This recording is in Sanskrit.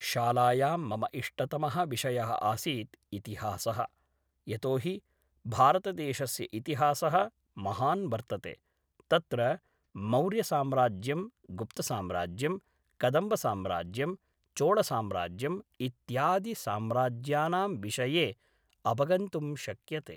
शालायां मम इष्टतमः विषयः आसीत् इतिहासः यतो हि भारतदेशस्य इतिहासः महान् वर्तते तत्र मौर्यसाम्राज्यं गुप्तसाम्राज्यं कदम्बसाम्राज्यं चोळसाम्राज्यम् इत्यादिसाम्राज्यानां विषये अवगन्तुं शक्यते